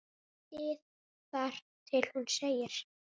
ið þar til hún segir